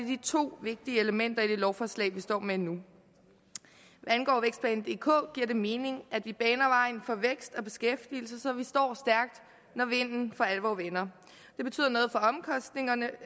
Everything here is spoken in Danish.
de to vigtige elementer i det lovforslag vi står med nu hvad angår vækstplan dk giver det mening at vi baner vejen for vækst og beskæftigelse så vi står stærkt når vinden for alvor vender det betyder noget for omkostningerne